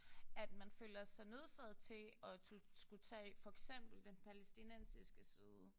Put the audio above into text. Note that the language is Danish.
At man føler sig nødsaget til at skulle tage for eksempel den palæstinensiske side